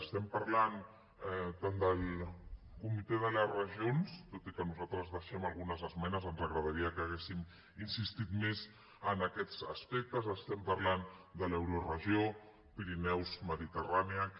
estem parlant tant del comitè de les regions tot i que nosaltres deixem algunes esmenes ens agradaria que haguéssim insistit més en aquests aspectes estem parlant de l’euroregió pirineus mediterrània que